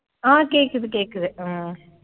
ஆஹ் கேட்குது கேட்குது உம்